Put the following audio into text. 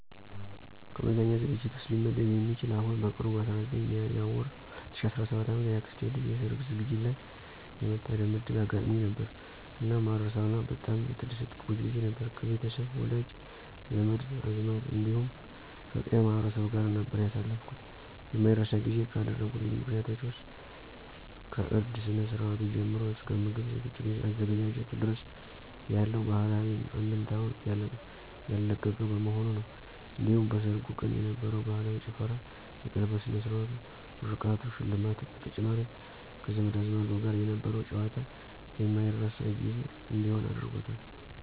ከመዝናኛ ዝግጅት ውስጥ ሊመደብ የሚችል አሁን በቅርቡ በ19 ሚያዝያ ወር 2017 ዓ.ም የአክስቴ ልጅ የሠርግ ዝግጅት ላይ የመታደም ዕድል አጋጥሞኝ ነበር። እናም ማረሳው እና በጣም የተደሰትኩበት ጊዜ ነበር። ከቤተሰብ፣ ወዳጅ፣ ዘመድ አዝማድ እንዲሁም ከቀዬው ማህበረሰብ ጋር ነበር ያሳለፍኩት። የማይረሳ ጊዜ ካደረጉልኝ ምክንያቶች ውስጥ ከእርድ ስነ-ስርአቱ ጀምሮ እስከ ምግብ አዘገጃጀቱ ድረስ ያለው ባህላዊ አንድምታውን ያለቀቀ በመሆኑ ነው። እንዲሁም በሠርጉ ቀን የነበረው ባህላዊ ጭፈራ፣ የቀለበት ስነ-ስርዓቱ፣ ምርቃቱ፣ ሽልማቱ በተጨማሪም ከዘመድ አዝማዱ ጋር የነበረው ጨዋታ የማረሳው ጊዜ እንዲሆን አድርጎታል።